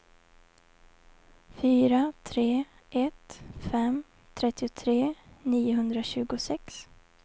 fyra tre ett fem trettiotre niohundratjugosex